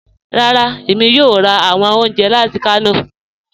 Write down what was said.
Rárá, èmi yóò rà awọn ọ̀unjẹ láti Kano.